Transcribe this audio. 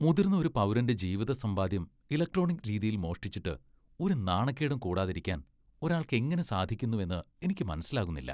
മുതിർന്ന ഒരു പൗരന്റെ ജീവിതസമ്പാദ്യം ഇലക്ട്രോണിക് രീതിയിൽ മോഷ്ടിച്ചിട്ട് ഒരു നാണക്കേടും കൂടാതിരിക്കാൻ ഒരാൾക്ക് എങ്ങനെ സാധിക്കുന്നുവെന്ന് എനിക്ക് മനസ്സിലാകുന്നില്ല.